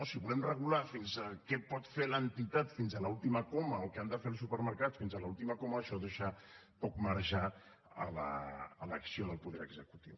si volem regular què pot fer l’entitat fins a l’última coma o què han de fer els supermercats fins a l’última coma això deixa poc marge a l’acció del poder executiu